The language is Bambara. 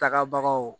Tagabagaw